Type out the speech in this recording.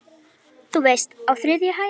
Þú veist- á þriðju hæð.